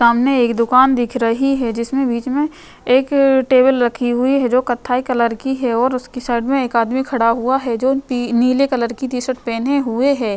सामने एक दुकान दिख रही है जिसमे बीच में एक टेबल रखी हुई है जो कथई कलर की है और उसके साइड में एक आदमी खड़ा हुआ है जो नीले कलर की टी शर्ट पहने हुए है।